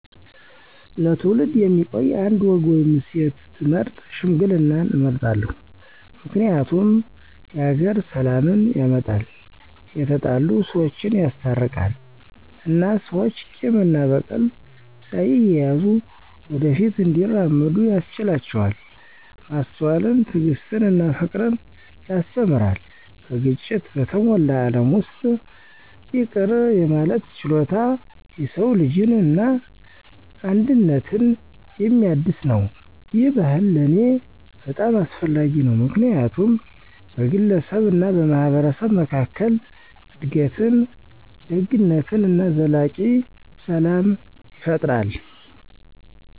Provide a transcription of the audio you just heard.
ለትውልድ የሚቆይ አንድ ወግ ወይም እሴት ብመርጥ ሽምግልናን እመርጣለሁ። ምክንያቱም የሀገር ሰላምን ያመጣል፣ የተጣሉ ሰወችን ያስታርቃል እና ሰዎች ቂም እና በቀል ሳይያዙ ወደ ፊት እንዲራመዱ ያስችላቸዋል። ማስተዋልን፣ ትዕግስትን እና ፍቅርን ያስተምራል። በግጭት በተሞላ ዓለም ውስጥ ይቅር የማለት ችሎታ የሰው ልጅን እና አንድነትን የሚያድስ ነው። ይህ ባህል ለእኔ በጣም አስፈላጊ ነው ምክንያቱም በግለሰብ እና በማህበረሰብ መካከል እድገትን፣ ደግነትን እና ዘላቂ ሰላም ይፈጥራል።